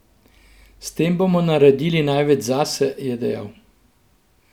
S tem bomo naredili največ zase, je dejal.